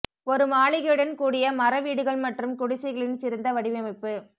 ஒரு மாளிகையுடன் கூடிய மர வீடுகள் மற்றும் குடிசைகளின் சிறந்த வடிவமைப்பு